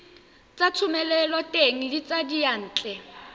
tsa thomeloteng le tsa diyantle